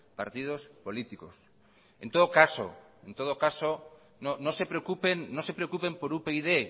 partidos políticos en todo caso no se preocupen por upyd